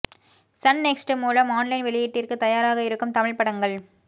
Sun next மூலம் online வெளியீட்டிற்கு தயாராக இருக்கும் தமிழ் படங்கள்